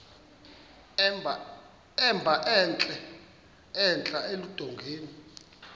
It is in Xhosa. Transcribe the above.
emba entla eludongeni